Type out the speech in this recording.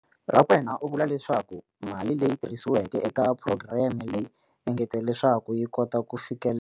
Rakwena u vule leswaku mali leyi tirhisiweke eka phurogireme leyi engeteriwa leswaku yi kota ku fikelela.